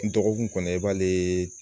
N dɔgɔkun kɔnɔ i b'ale